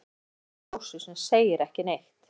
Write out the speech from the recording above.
Horfir líka á Ásu sem segir ekki neitt.